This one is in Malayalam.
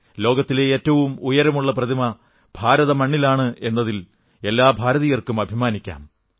ലോകത്തിലെ ഏറ്റവും ഉയരമുള്ള പ്രതിമ ഭാരതമണ്ണിലാണ് എന്നതിൽ എല്ലാ ഭാരതീയർക്കും അഭിമാനിക്കാം